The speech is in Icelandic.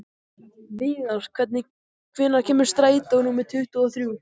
Viðar, hvenær kemur strætó númer tuttugu og þrjú?